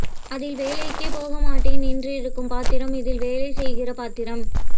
அதில் வேலைக்கே போகமாட்டேன் என்றிருக்கும் பாத்திரம் இதில் வேலைசெய்கிற பாத்திரம்